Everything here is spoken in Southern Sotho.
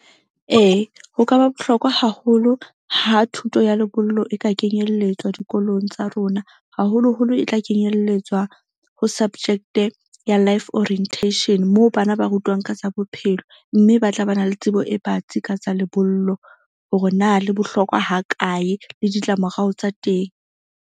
Ee, ho ka ba bohlokwa haholo ha thuto ya lebollo e ka kenyelletswa dikolong tsa rona, haholoholo e tla kenyelletswa ho subject-e ya life orientation moo bana ba rutwang ka tsa bophelo. Mme ba tla ba na le tsebo e batsi ka tsa lebollo hore na le bohlokwa ha kae le ditlamorao tsa teng.